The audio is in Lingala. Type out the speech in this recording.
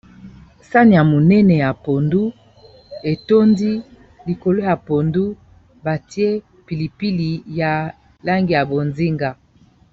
Sane ya monene ya pondu etondi likolo ya pondu batie pilipili ya langi ya bozinga